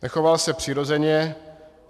Nechoval se přirozeně.